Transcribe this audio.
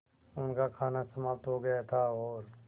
उनका खाना समाप्त हो गया था और